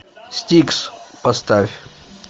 стикс поставь